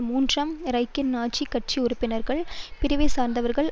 மூன்றாம் ரைகின் நாஜிக் கட்சி உறுப்பினர்கள் பிரிவை சார்ந்தவர்கள்